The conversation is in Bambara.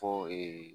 Fɔ